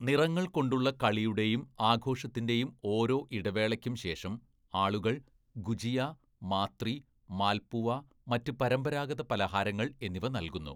നിറങ്ങൾ കൊണ്ടുള്ള കളിയുടെയും ആഘോഷത്തിന്റെയും ഓരോ ഇടവേളക്കും ശേഷം ആളുകൾ ഗുജിയ, മാത്രി, മാൽപുവ, മറ്റ് പരമ്പരാഗത പലഹാരങ്ങൾ എന്നിവ നൽകുന്നു.